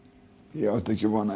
ég átti ekki von á